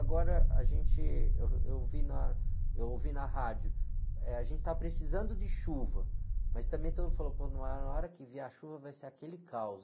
Agora, a gente, eu ouvi na, eu ouvi na rádio, eh, a gente está precisando de chuva, mas também todo mundo falou, pô, mas na hora que vier a chuva vai ser aquele caos.